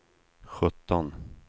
sjutton